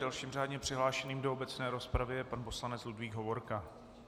Dalším řádně přihlášením do obecné rozpravy je pan poslanec Ludvík Hovorka.